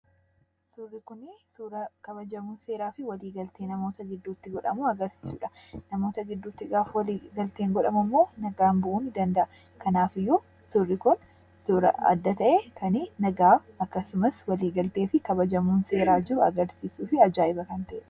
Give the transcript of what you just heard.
Suurri kun suuraa kabajamoo seeraa fi waliigaltee namoota gidduutti godhamu kan agarsiisuudha. Namoota gidduutti gaafa waliigalteen godhamu immoo nagaan bu'uu ni danda'a. Kanaaf iyyuu, suurri kun suuraa adda ta'e kan nagaa, waliigaltee fi kabajamuun seeraa jiru agarsiisuu fi ajaa'iba kan ta'eedha.